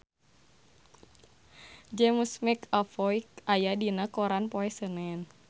James McAvoy aya dina koran poe Senen